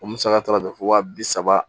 O musaka taara jɔ wa bi saba